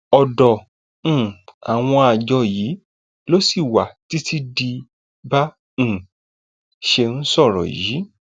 ọdọ um àwọn àjọ yìí ló ṣì wà títí di bá um a ṣe ń sọ yìí